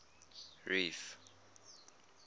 reef